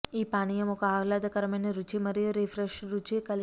ఈ పానీయం ఒక ఆహ్లాదకరమైన రుచి మరియు రిఫ్రెష్ రుచి కలిగి